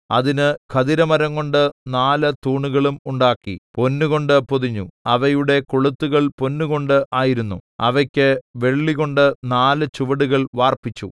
അതിന് ഖദിരമരംകൊണ്ട് നാല് തൂണുകളും ഉണ്ടാക്കി പൊന്നുകൊണ്ട് പൊതിഞ്ഞു അവയുടെ കൊളുത്തുകൾ പൊന്നുകൊണ്ട് ആയിരുന്നു അവയ്ക്ക് വെള്ളികൊണ്ട് നാല് ചുവടുകൾ വാർപ്പിച്ചു